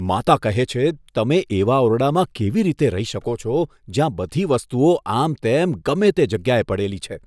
માતા કહે છે, તમે એવા ઓરડામાં કેવી રીતે રહી શકો છો, જ્યાં બધી વસ્તુઓ આમતેમ ગમે તે જગ્યાએ પડેલી છે?